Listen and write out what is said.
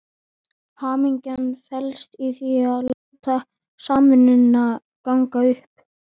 Hamingjan felst í því að láta samvinnuna ganga upp.